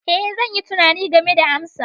Ee, zan yi tunani game da amsa.